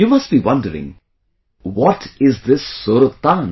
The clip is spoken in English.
You must be wondering, what is this 'Sur Tan